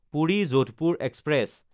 Puri-Jodhpur express